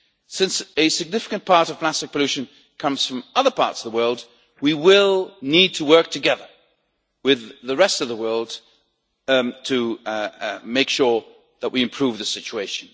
Since a significant part of plastic pollution comes from other parts of the world, we will need to work together with the rest of the world to make sure that we improve the situation.